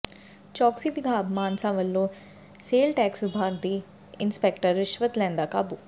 ਚੌਕਸੀ ਵਿਭਾਗ ਮਾਨਸਾ ਵੱਲੋਂ sale tax ਵਿਭਾਗ ਦਾ ਇੰਸਪੈਕਟਰ ਰਿਸ਼ਵਤ ਲੈਂਦਾ ਕਾਬੂ